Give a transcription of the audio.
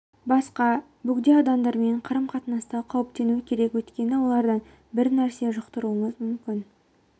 басқа бөгде адамдармен қарым-қатынаста қауіптену керек өйткені олардан бір нәрсе жұқтыруымыз мүмкін